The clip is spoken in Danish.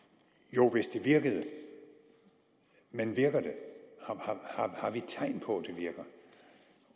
jo hvis det virkede men virker det har vi tegn på